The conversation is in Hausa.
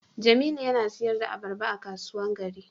Jamilu yana sayar da albarba a kasuwan gari.